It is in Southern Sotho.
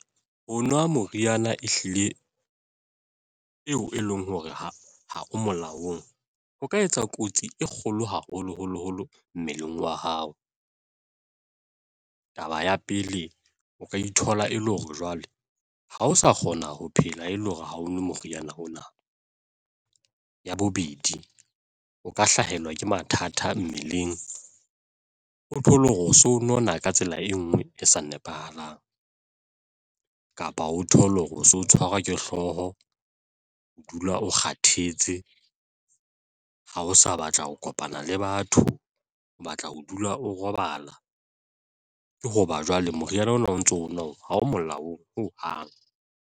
Ho nwa moriana e hlile eo e leng hore ha o molaong ho ka etsa kotsi e kgolo haholoholo holo mmeleng wa hao. Taba ya pele, o ka ithola e le hore jwale ha o sa kgona ho phela e le hore ha o nwe moriana ona. Ya bobedi, o ka hlahelwa ke mathata mmeleng o thole hore o so nona ka tsela e nngwe e sa nepahalang kapa o thole hore o so tshwarwa ke hlooho, o dula o kgathetse ha o sa batla ho kopana le batho, o batla ho dula o robala ke hoba jwale moriana ona o ntso onwa o ha o molaong ho hang.